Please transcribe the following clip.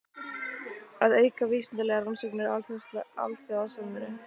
Að auka vísindalegar rannsóknir og alþjóðasamvinnu.